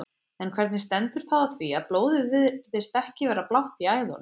En hvernig stendur þá á því að blóðið virðist vera blátt í æðunum?